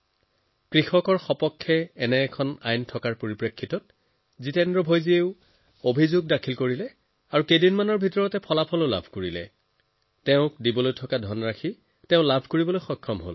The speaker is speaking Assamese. এতিয়া যেতিয়া এনেকুৱা আইনৰ শক্তি আমাৰ কৃষক ভাইসকলৰ ওচৰত আছে তেনেহলে তেওঁলোকৰ সমস্যাৰ সমাধান হব লাগিব তেওঁ অভিযোগ কৰিলে আৰু কেইদিনমানতে তেওঁৰ বাকীখিনি ধন আদায় হল